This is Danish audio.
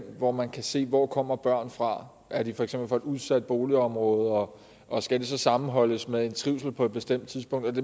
hvor man kan sige hvor kommer børnene fra er de for eksempel fra et udsat boligområde og og skal det så sammenholdes med en trivsel på et bestemt tidspunkt